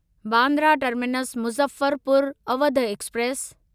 Bandra terminus Muzaffarpur Awadh express